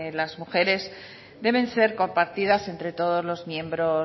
las mujeres deben ser compartidas entre todos los miembros